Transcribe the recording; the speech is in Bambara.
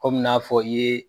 Kɔmi n'a fɔ i ye